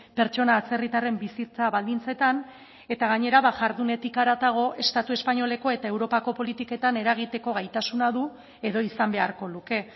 pertsona atzerritarren bizitza baldintzetan eta gainera jardunetik haratago estatu espainoleko eta europako politiketan eragiteko gaitasuna du edo izan beharko luke